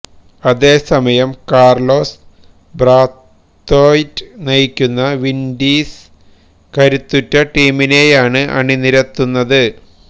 അതേസമയം Carlos Brathwaite നയിക്കുന്ന Windies കരുത്തുറ്റ ടീമിനെയാണ് അണിനിരത്തുന്നത്